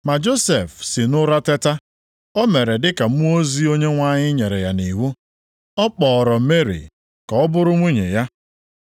Mgbe Josef si nʼụra teta, o mere dịka mmụọ ozi Onyenwe anyị nyere ya nʼiwu. Ọ kpọọrọ Meri ka ọ bụrụ nwunye ya.